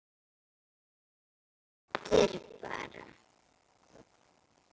Þú glottir bara!